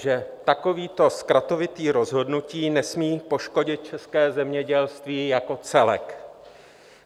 Že takovéto zkratovité rozhodnutí nesmí poškodit české zemědělství jako celek.